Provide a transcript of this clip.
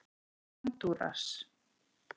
Hondúras